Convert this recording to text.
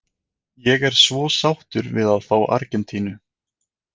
Ég er svo sáttur við að fá Argentínu.